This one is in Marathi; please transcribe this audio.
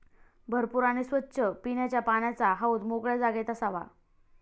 भरपूर आणि स्वच्छ पिण्याच्या पाण्याचा हौद मोकळ्या जागेत असावा.